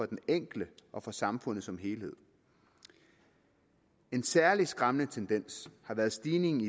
den enkelte og for samfundet som helhed en særligt skræmmende tendens er den stigning